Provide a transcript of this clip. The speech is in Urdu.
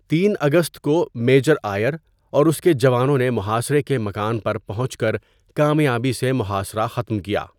۳ اگست کو میجر آئیر اور اس کے جوانوں نے محاصرے کے مکان پر پہنچ کر کامیابی سے محاصرہ ختم کیا۔